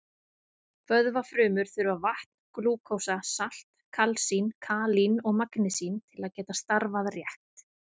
Vöðvafrumur þurfa vatn, glúkósa, salt, kalsín, kalín og magnesín til að geta starfað rétt.